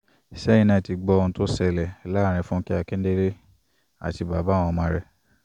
sẹyin naa ti gbọ ohun to sẹlẹ laarin funkẹ akindele ati baba awọn ọmọ rẹ